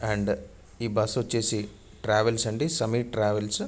And ఈ bus ఒచ్చేసి travels అండి సమీర్ ట్రావెల్స్ .